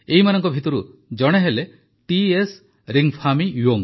ଏମାନଙ୍କ ମଧ୍ୟରୁ ଜଣେ ହେଲେ ଟି ଏସ୍ ରିଙ୍ଗଫାମି ୟୋଙ୍ଗ୍